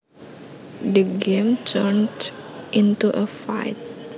The game turned into a fight